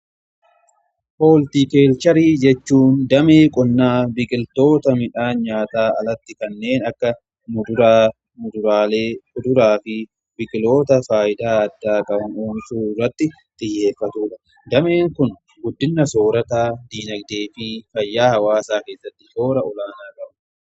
Hooltikeelcharii jechuun damee qonnaa biqiltoota midhaan nyaataa alatti kanneen akka kuduraa fi biqiloota faayidaa addaa qabu kunuunsuuurratti xiyyeeffatuudha. Dameen kun guddina soorataa diinagdee fi fayyaa hawaasaa keessatti shoora olaanaa qabu.